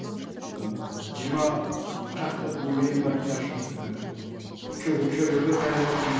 ыыы жиырма шақты немерем бар ыыы шөбереге таяп отырмыз